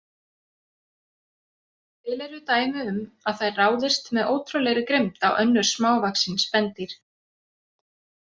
Til eru dæmi um að þær ráðist með ótrúlegri grimmd á önnur smávaxin spendýr.